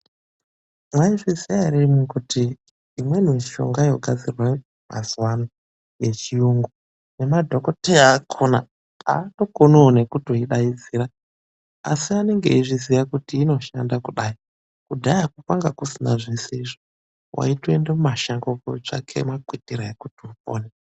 Mwaizviziya ere imwimwi kuti imweni mishonga yogadzirwa mazuvano yechiyungu ngemadhokotera akona haatokoniwo ngekuidaidzira. Asi anenge eizviziya kuti inoshanda kudai. Kudhaya kwanga kusina zvese izvo , waitoenda mumashango kotsvaga makwitira ekuti upone.